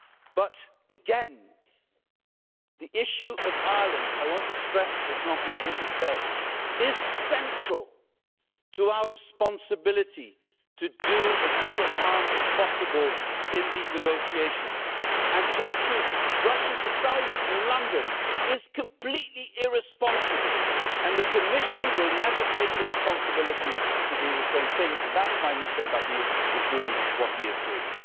But again, the issue of Ireland I want to stress what Jean Claude Juncker said is central to our responsibility to do as little harm as possible in these negotiations, and just to brush us aside in London is completely irresponsible the Commission will never take the responsibility to do the same thing, and that is why Michel Barnier is doing what he is doing.